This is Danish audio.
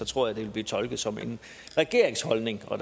tror jeg det ville blive tolket som regeringens holdning og